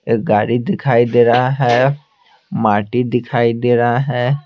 एक गाड़ी दिखाई दे रहा है माटी दिखाई दे रहा है।